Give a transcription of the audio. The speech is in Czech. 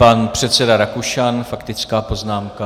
Pan předseda Rakušan - faktická poznámka.